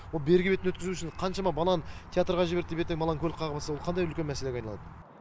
ол бергі бетіне өткізу үшін қаншама баланы театрға жіберді деп ертең баланы көлік қағып жатса ол қандай үлкен мәселеге айналады